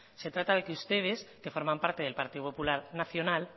se trata de que ustedes que forman parte del partido popular nacional